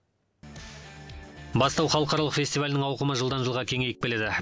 бастау халықаралық фестивалінің ауқымы жылдан жылға кеңейіп келеді